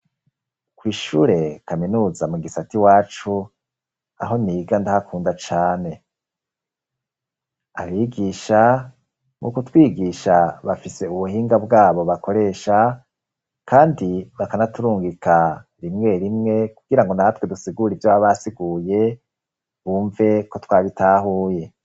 Kw' ishure kaminuza mu gisata iwacu ,aho niga ndahakunda cane ,abigisha muku twigisha bafise ubuhinga bwabo bakoresha ,kandi bakanaturungika rimwe rimwe kugirango natwe dusigura ivyo baba basiguye, bumve ko twabitahuye.